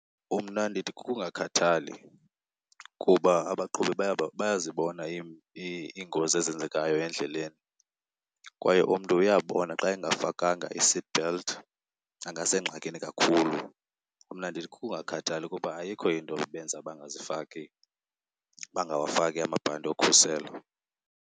Umna ndithi kukungakhathali, kuba abaqhubi bayazibona iingozi ezenzekayo endleleni kwaye umntu uyabona xa engafakanga i-seatbelt angasengxakini kakhulu. Mna ndithi kukungakhathali kuba ayikho into ebenza bangazifaki, bangawafaki amabhanti okhuselo.